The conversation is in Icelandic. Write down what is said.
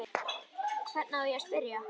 Hvern á ég að spyrja?